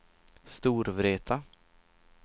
Storvreta